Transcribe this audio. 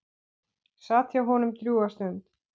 Sat hjá honum drjúga stund.